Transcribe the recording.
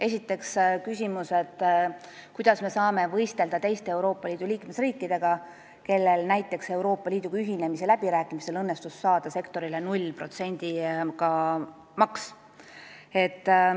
Esiteks oli küsimus, kuidas me saame võistelda teiste Euroopa Liidu liikmesriikidega, kellel näiteks Euroopa Liiduga ühinemise läbirääkimistel õnnestus saada nullmääraga maks sektorile.